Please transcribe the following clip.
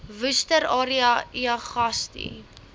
worcester area uagasti